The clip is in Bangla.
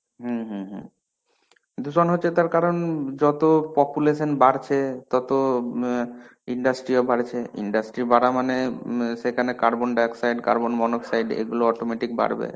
হম হম হম দূষণ হচ্ছে তার কারণ যত population বাড়ছে, তত ম আ industry ও বাড়ছে. industry বাড়া মানে ম সেখানে carbon dioxide, carbon monooxide এগুলো autometic বাড়বে.